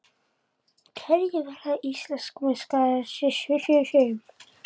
Hverjir verða Íslandsmeistarar í sumar?